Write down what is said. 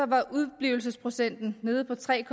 var udeblivelsesprocenten nede på tre